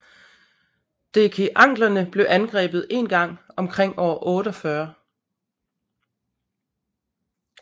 Dekeanglerne blev angrebet en gang omkring år 48